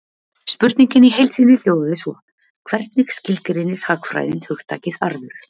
Spurningin í heild sinni hljóðaði svo: Hvernig skilgreinir hagfræðin hugtakið arður?